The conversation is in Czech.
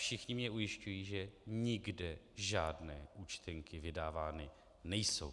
Všichni mě ujišťují, že nikde žádné účtenky vydávány nejsou.